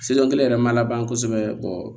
yɛrɛ ma laban kosɛbɛ